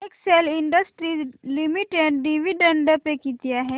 Excel industries limited dividend pay किती आहे